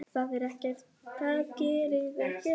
Það gerði ekkert til.